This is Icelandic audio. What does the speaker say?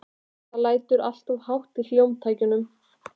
Það lætur alltof hátt í hljómtækjunum.